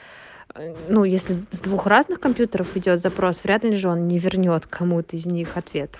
ну если с двух разных компьютеров идёт запрос рядом же он не вернёт кому-то из них ответ